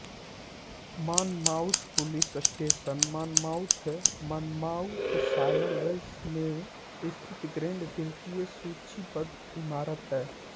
Monmouth police station Monmouth Monmouthshire Wales में स्थित grade द्वितीय सूचीबद्ध इमारत है